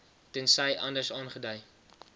tensy anders aangedui